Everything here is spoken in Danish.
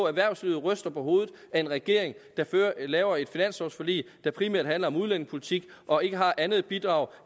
erhvervslivet ryster på hovedet af en regering der laver et finanslovforlig der primært handler om udlændingepolitik og ikke har andet bidrag